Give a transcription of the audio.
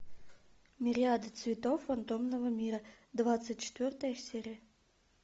мириады цветов фантомного мира двадцать четвертая серия